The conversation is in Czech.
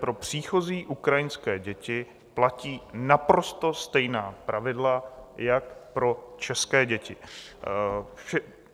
Pro příchozí ukrajinské děti platí naprosto stejná pravidla jako pro české děti.